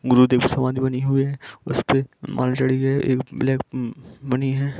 गुरुदेव की समाधि बनी हुई है उस पे माला चढ़ी गई है एक ब्लैक है।